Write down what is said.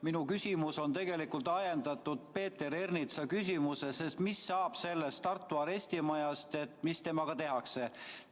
Minu küsimus on ajendatud Peeter Ernitsa küsimusest, mis saab Tartu arestimajast, mis sellega tehakse.